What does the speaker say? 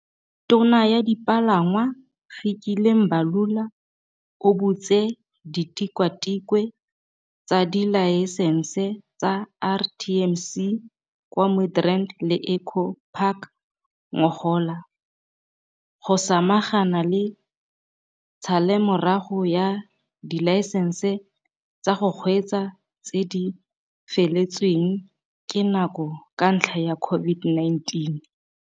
Tona ya Dipalangwa, Fikile Mbalula, o butse ditikwatikwe tsa dilaesense tsa RTMC kwa Midrand le Eco Park ngogola, go samagana le tshalelomorago ya dilaesense tsa go kgweetsa tse di feletsweng ke nako ka ntlha ya COVID-19.